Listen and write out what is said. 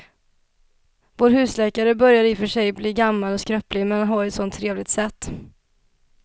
Vår husläkare börjar i och för sig bli gammal och skröplig, men han har ju ett sådant trevligt sätt!